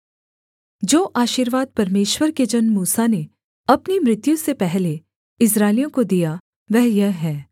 जो आशीर्वाद परमेश्वर के जन मूसा ने अपनी मृत्यु से पहले इस्राएलियों को दिया वह यह है